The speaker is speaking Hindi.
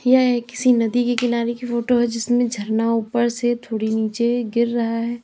यह एक किसी नदी के किनारे की फोटो है जिसमें झरना ऊपर से थोड़ी नीचे गिर रहा है।